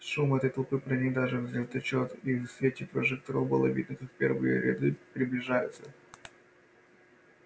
шум этой толпы проник даже в звездолёт и в свете прожекторов было видно как первые ряды приближаются